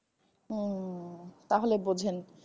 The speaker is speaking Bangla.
হম তাহলে বুঝেন।